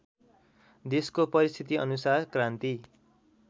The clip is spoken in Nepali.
देशको परिस्थितिअनुसार क्रान्ति